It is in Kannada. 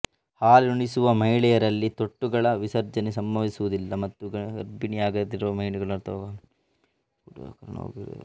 ಹಾಲುಣಿಸುವ ಮಹಿಳೆಯರಲ್ಲಿ ತೊಟ್ಟುಗಳ ವಿಸರ್ಜನೆ ಸಂಭವಿಸುವುದಿಲ್ಲ ಮತ್ತು ಗರ್ಭಿಣಿಯಾಗದಿರುವ ಮಹಿಳೆಯರು ಅಥವಾ ಹಾಲುಣಿಸದ ಮಹಿಳೆಯರಲ್ಲಿ ಕೂಡಾ ಕಾರಣವಾಗದಿರಬಹುದು